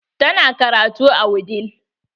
Ta na karatu a wudil.